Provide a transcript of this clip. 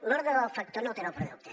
l’ordre del factor no altera el producte